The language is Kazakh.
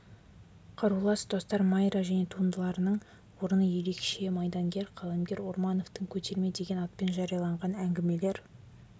қарулас достар майра және туындыларының орны ерекше майдангер қаламгерлер ормановтың көтерме деген атпен жарияланған әңгімелер